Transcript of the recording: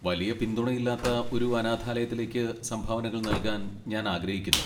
വലിയ പിന്തുണയില്ലാത്ത ഒരു അനാഥാലയത്തിലേക്ക് സംഭാവനകൾ നൽകാൻ ഞാൻ ആഗ്രഹിക്കുന്നു.